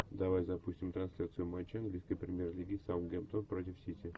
давай запустим трансляцию матча английской премьер лиги саутгемптон против сити